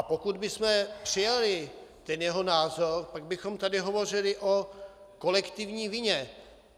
A pokud bychom přijali ten jeho názor, pak bychom tady hovořili o kolektivní vině.